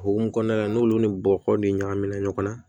O hukumu kɔnɔna la n'olu ni bɔgɔ de ɲagamina ɲɔgɔn na